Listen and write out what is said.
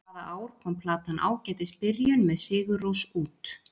Hvaða ár kom platan Ágætis byrjun, með Sigurrós út?